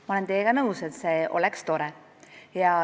Ma olen teiega nõus, et see oleks tore.